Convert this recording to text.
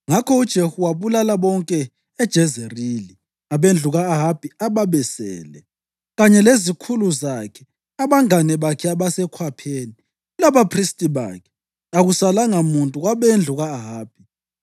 Ngakho uJehu wabulala bonke eJezerili abendlu ka-Ahabi ababesele, kanye lezikhulu zakhe, abangane bakhe abasekhwapheni labaphristi bakhe, akusalanga muntu kwabendlu ka-Ahabi.